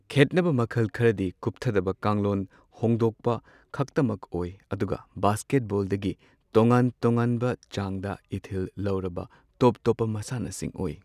ꯈꯦꯠꯅꯕ ꯃꯈꯜ ꯈꯔꯗꯤ ꯀꯨꯞꯊꯗꯕ ꯀꯥꯡꯂꯣꯟ ꯍꯣꯡꯗꯣꯛꯄ ꯈꯛꯇꯃꯛ ꯑꯣꯏ꯫ ꯑꯗꯨꯒ ꯕꯥꯁ꯭ꯀꯦꯠꯕꯣꯜꯗꯒꯤ ꯇꯣꯉꯥꯟ ꯇꯣꯉꯥꯟꯕ ꯆꯥꯡꯗ ꯏꯊꯤꯜ ꯂꯧꯔꯕ ꯇꯣꯞ ꯇꯣꯞꯄ ꯃꯁꯥꯟꯅꯁꯤꯡ ꯑꯣꯏ꯫